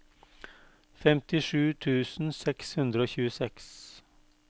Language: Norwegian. femtisju tusen seks hundre og tjueseks